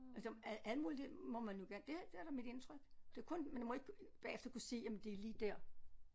Altså al alt muligt det må man jo gerne det det er da mit indtryk det er kun man må ikke bagefter kunne sige jamen det er lige der